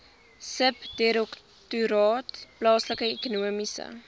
subdirektoraat plaaslike ekonomiese